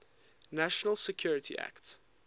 national security act